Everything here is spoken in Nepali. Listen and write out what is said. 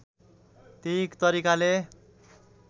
त्यही तरिकाले